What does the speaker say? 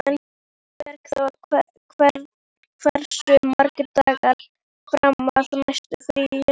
Bergþór, hversu margir dagar fram að næsta fríi?